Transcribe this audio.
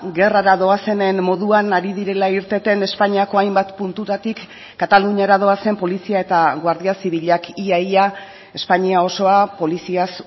gerrara doazenen moduan ari direla irteten espainiako hainbat puntutatik kataluniara doazen polizia eta guardia zibilak ia ia espainia osoa poliziaz